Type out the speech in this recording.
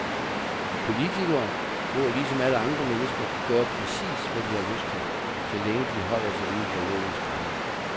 Politikere må ligesom alle andre mennesker gøre præcis, hvad de har lyst til, så længe de holder sig inden for lovens rammer.